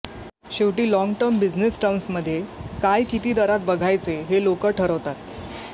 शेवटी long term business टर्म्समधे काय किती दरात बघायचे हे लोक ठरवतात